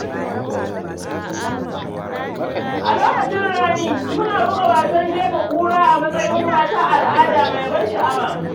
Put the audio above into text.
A lokacin rani, muna buga wasan jefa ƙura a matsayin wata al’ada mai ban sha’awa.